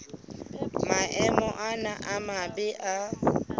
maemo ana a mabe a